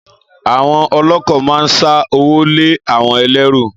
Àwon ọ̀lokọ̀ ma ń sà òwó lẹ àwon ẹlẹru